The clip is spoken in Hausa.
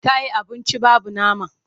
Ta yi abunci babu nama.